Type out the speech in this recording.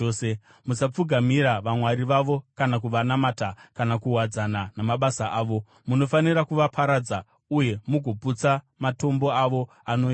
Musapfugamira vamwari vavo kana kuvanamata kana kuwadzana namabasa avo. Munofanira kuvaparadza uye mugoputsa matombo avo anoyera.